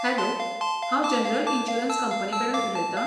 Hello, हांव general insurance कंपनीकडेन उलयतां?